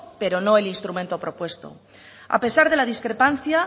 pero no el instrumento propuesto a pesar de la discrepancia